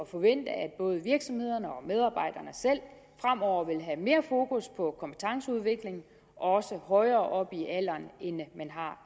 forvente at både virksomhederne og medarbejderne selv fremover vil have mere fokus på kompetenceudvikling også højere op i alderen end man har